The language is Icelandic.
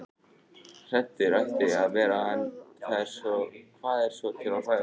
Hræddur ætti það að vera- en hvað er svo til að hræðast?